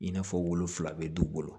I n'a fɔ wolofila bɛ du bolo